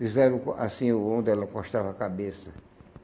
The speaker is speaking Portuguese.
Fizeram assim, onde ela acostava a cabeça.